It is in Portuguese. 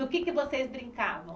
Do que é que vocês brincavam?